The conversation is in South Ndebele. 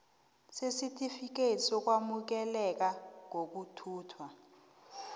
sesitifikethi sokwamukeleka kokuthuthwa